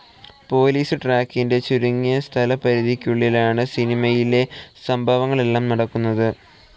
Police ട്രക്കിൻ്റെ ചുരുങ്ങിയ സ്ഥലപരിധിക്കുള്ളിലാണ് സിനിമയിലെ സംഭവങ്ങളെല്ലാം നടക്കുന്നത്.